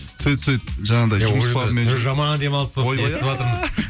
сөйтіп сөйтіп жаңағыдай жаман демалыс болыпты